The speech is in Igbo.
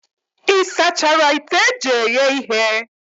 Ị sachara ite eji eghe ihe?